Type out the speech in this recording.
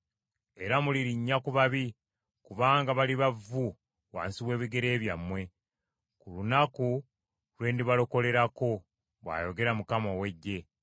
Era mulirinnya ku babi, kubanga baliba vvu wansi w’ebigere byammwe, ku lunaku lwe ndibalokolerako,” bw’ayogera Mukama ow’Eggye.